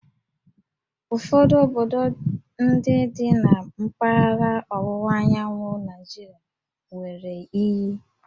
Ụfọdụ obodo ndị dị na mpaghara ọwụwa anyanwụ Naịjirịa nwere íyí